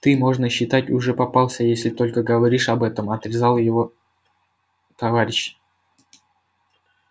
ты можно считать уже попался если только говоришь об этом отрезал его товарищ